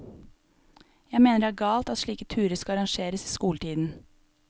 Jeg mener det er galt at slike turer skal arrangeres i skoletiden.